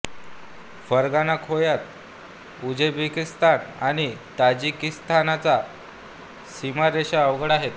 Fergana खोयात Uzbekistan आणि ताजिकिस्तानच्या सीमारेषा अवघड आहेत